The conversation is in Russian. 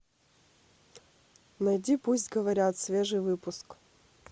найди пусть говорят свежий выпуск